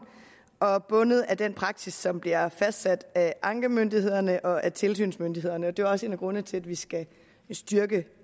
og og bundet af den praksis som bliver fastsat af ankemyndighederne og af tilsynsmyndighederne det var også en af grundene til at vi skal styrke